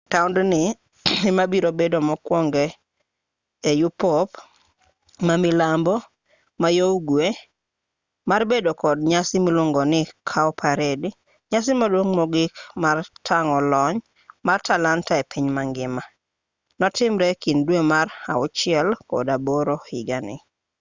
taondni emabiro bedo mokwongo e yupop ma milambo-mayougwe mar bedo kod nyasi miluongo ni cowparade nyasi maduong' mogik mar tang'o lony mar talanta epiny mangima notimre ekind dwe mar auchiel kod aboro higani